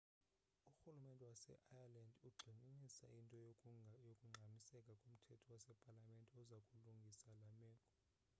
urhulumente waseireland ugxininisa into yokungxamiseka komthetho wasepalamente oza kulungisa le meko